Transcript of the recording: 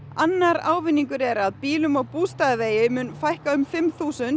annar ávinningur er að bílum á Bústaðavegi fækkar um fimm þúsund